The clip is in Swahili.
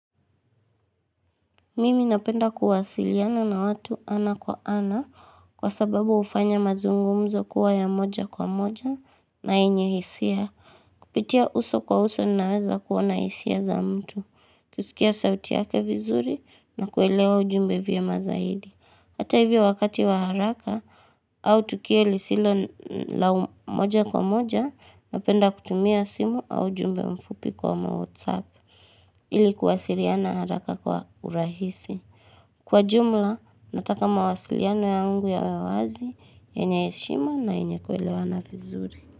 Mimi napenda kuwasiliana na watu ana kwa ana kwa sababu hufanya mazungumzo kuwa ya moja kwa moja na yenye hisia. Kupitia uso kwa uso naweza kuona hisia za mtu. Kusikia sauti yake vizuri na kuelewa ujumbe vyema zaidi. Hata hivyo wakati wa haraka au tukio lisilo la moja kwa moja napenda kutumia simu au ujumbe mfupi kama whatsapp ili kuwasiliana haraka kwa urahisi. Kwa jumla, nataka mawasiliano yangu yawe wazi, yenye heshima na yenye kuelewana vizuri.